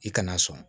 I kana sɔn